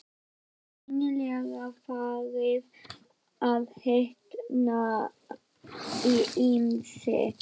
Var greinilega farið að hitna í hamsi.